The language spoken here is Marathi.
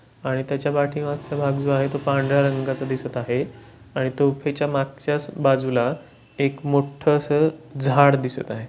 आणि त्याचा पाठीमागचा भाग जो आहे. तो पांढर्‍या रंगाचा दिसत आहे आणि तो पिच्या मागच्यास बाजूला एक मोट्ट स झाड दिसत आहे.